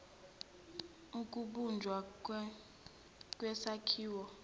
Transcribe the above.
ukubunjwa kwesakhiwo esixube